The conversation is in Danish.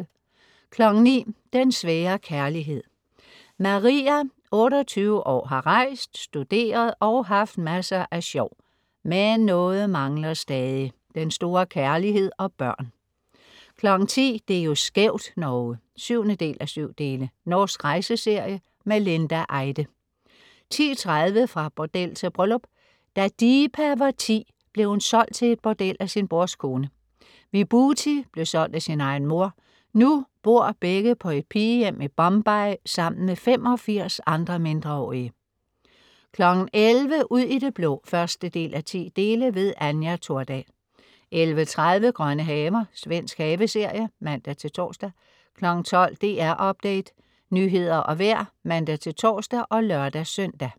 09.00 Den svære kærlighed. Maria, 28 år, har rejst, studeret og haft masser af sjov, men noget mangler stadig: Den store kærlighed og børn 10.00 Det er jo skævt, Norge! 7:7. Norsk rejseserie. Linda Eide 10.30 Fra bordel til bryllup. Da Deepa var 10 blev hun solgt til et bordel af sin brors kone. Vibuthi blev solgt af sin egen mor. Nu bor begge på et pigehjem i Bombay sammen med 85 andre mindreårige 11.00 Ud i det blå 1:10. Anja Thordal 11.30 Grønne haver. Svensk haveserie (man-tors) 12.00 DR Update. Nyheder og vejr (man-tors og lør-søn)